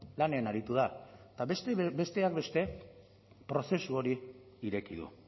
lanean aritu da eta besteak beste prozesu hori ireki du